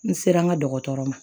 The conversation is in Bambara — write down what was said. N sera n ka dɔgɔtɔrɔ ma